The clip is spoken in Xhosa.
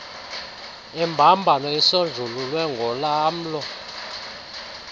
imbambano isonjululwe ngolamlo